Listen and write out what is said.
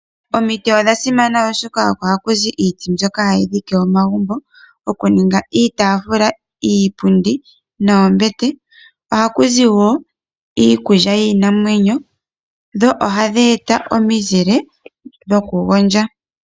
Omiti odha simana oshoka oko hakuzi iiti mbyoka ha yi dhike omagumbo, okuninga iitafula, iipundi noombete. Oha ku zi woo iikulya yiinamwenyo, dho oha dhi eta omizile dhokugondja.